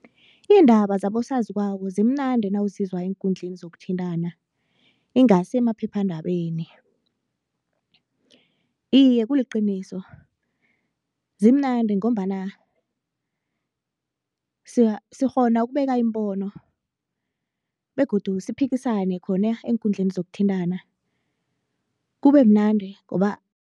Iindaba zabosaziwako zimnandi nawuzizwa eenkundleni zokuthintana ingasi emaphephandabeni. Iye kuliqiniso, zimnandi ngombana sikghona ukubeka iimbono begodu siphikisane khona eenkundleni zokuthintana kube mnandi ngoba